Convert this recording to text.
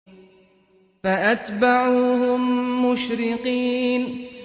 فَأَتْبَعُوهُم مُّشْرِقِينَ